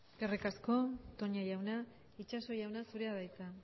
eskerrik asko toña jauna itxaso jauna zurea de hitza